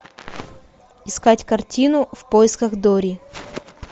искать картину в поисках дори